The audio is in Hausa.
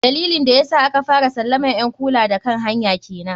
Dalilin da yasa aka fara salaman ƴn kula da kan hanya kenan.